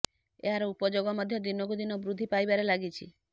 ଏହାର ଉପଯୋଗ ମଧ୍ୟ ଦିନକୁ ଦିନ ବୃଦ୍ଧି ପାଇବାରେ ଲାଗିଛି